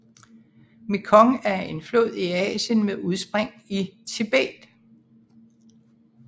Mekong er en flod i Asien med udspring i Tibet